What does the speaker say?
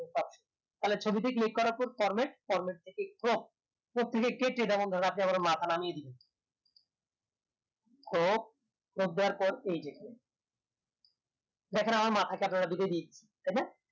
থালে ছবিতে click করার পর format থেকে crop তো কেটে আপ্নে ধরেন আমার মাথা নামিয়ে দিলেন crop দেয়ার পর এই যে দেখেন আমার মাঠে কে আপনারা দিয়েছি তাইনা